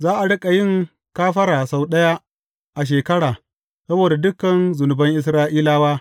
Za a riƙa yin kafara sau ɗaya a shekara saboda dukan zunuban Isra’ilawa.